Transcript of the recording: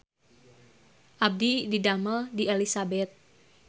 Abdi didamel di Elizabeth